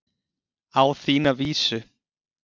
Á þína vísu.